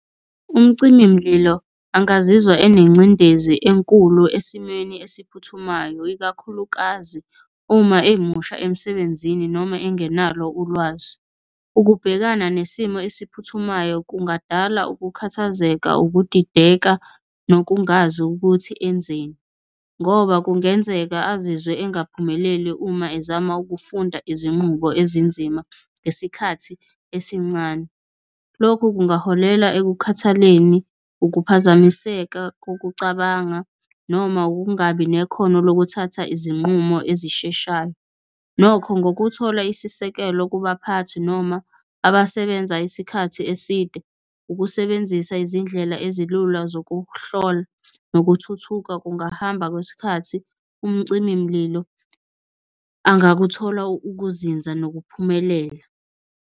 Umcimi mlilo angazizwa enengcindezi enkulu esimweni esiphuthumayo, ikakhulukazi uma emusha emsebenzini, noma engenalo ulwazi. Ukubhekana nesimo esiphuthumayo kungadala ukukhathazeka, ukudideka nokungazi ukuthi enzeni, ngoba kungenzeka azizwe engaphumeleli uma ezama ukufunda izinqubo ezinzima ngesikhathi esincane. Lokhu kungaholela ekukhathaleleni, ukuphazamiseka kokucabanga noma ukungabi nekhono lokuthatha izinqumo ezisheshayo. Nokho ngokuthola isisekelo kubaphathi noma abasebenza isikhathi eside, ukusebenzisa izindlela ezilula zokuhlola nokuthuthuka kungahamba kwesikhathi, umcimi mlilo angakuthola ukuzinza nokuphumelela.